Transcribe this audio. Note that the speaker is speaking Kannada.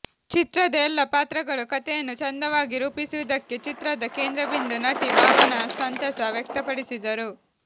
ಚಿತ್ರದ ಎಲ್ಲಾ ಪಾತ್ರಗಳು ಕತೆಯನ್ನು ಚಂದವಾಗಿ ರೂಪಿಸಿರುವುದಕ್ಕೆ ಚಿತ್ರದ ಕೇಂದ್ರಬಿಂದು ನಟಿ ಭಾವನಾ ಸಂತಸ ವ್ಯಕ್ತಪಡಿಸಿದರು